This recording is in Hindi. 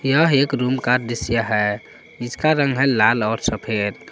यह एक रूम का दृश्य है जिसका रंग है लाल और सफेद।